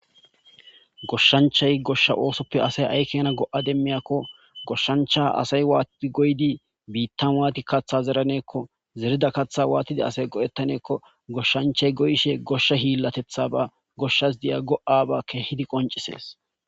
goshshanchay goshsha oosoppe asay ayi keena go7a demmiyakko goshshancha asay waatii goyidi biittan waati kaththa zeraneekko zerida kaththa waatida asay go7ettaneekko goshshanchay goyishe goshshe hiillatethaba goshshas diya go7aba kehidi qoncisees.